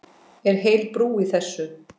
Er heil brú í þessu?